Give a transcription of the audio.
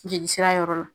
Jeli sira yɔrɔ la